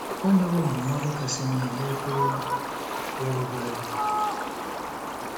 O nyewo ndụmọdụ kasị mma n'Okwu ya, bụ́ Bible.